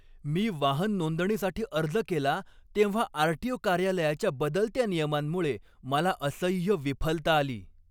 मी वाहन नोंदणीसाठी अर्ज केला तेव्हा आर.टी.ओ. कार्यालयाच्या बदलत्या नियमांमुळे मला असह्य विफलता आली.